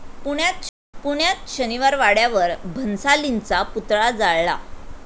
पुण्यात शनिवारवाड्यावर भन्सालींचा पुतळा जाळला